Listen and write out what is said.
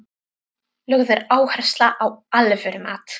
Lögð er áhersla á alvöru mat.